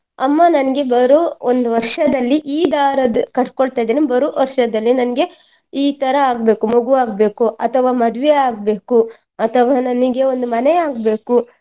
ಅಮ್ಮ ನನ್ಗೆ ಬರುವ ಒಂದು ವರ್ಷದಲ್ಲಿ ಈ ದಾರದ್ದು ಕಟ್ಕೊಳ್ತ ಇದ್ದೇನೆ ಬರುವ ವರ್ಷದಲ್ಲಿ ನನ್ಗೆ ಈ ತರ ಆಗ್ಬೇಕು ಮಗು ಆಗ್ಬೇಕು ಅಥವಾ ಮದುವೆ ಆಗ್ಬೇಕು ಅಥವಾ ನನಗೆ ಒಂದು ಮನೆ ಆಗ್ಬೇಕು.